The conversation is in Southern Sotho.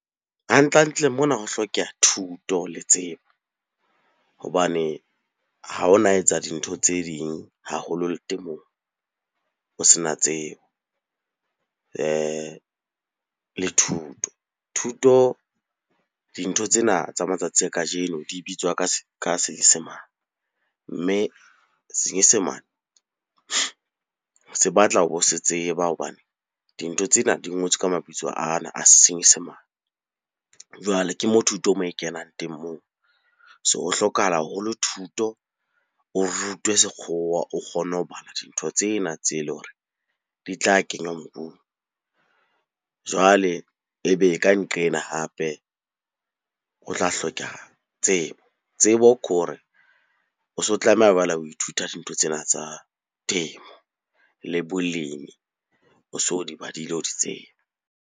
Hantle-hantle mona ho hlokeha thuto le tsebo hobane ha o na etsa dintho tse ding haholo temong o se na tsebo le thuto. Thuto, dintho tsena tsa matsatsi a kajeno di bitswa ka senyesemane. Mme senyesemane se batla o bo se tseba hobane dintho tsena di ngotswe ka mabitso ana a senyesemane. Jwale ke moo thuto mo e kenang teng moo. So ho hlokahala haholo thuto, o rutwe sekgowa o kgone ho bala dintho tsena tse leng hore di tla kenywa mobung. Jwale ebe e ka nqena hape ho tla hlokeha tsebo, tsebo kore o so tlameha jwale ho ithuta dintho tsena tsa temo le bolemi. O so di badile o di tseba.